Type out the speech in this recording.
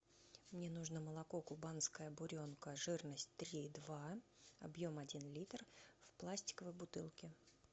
мне нужно молоко кубанская буренка жирность три и два объем один литр в пластиковой бутылке